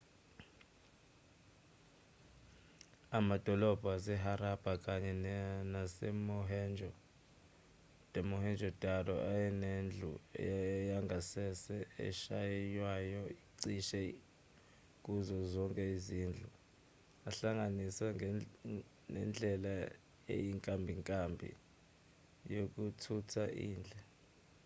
amadolobha waseharappa kanye nasemohenjo-daro ayenedlu yangasese eshaywayo cishe kuzo zonke izindlu ehlanganiswe nendlela eyinkimbinkimbi yokuthutha indle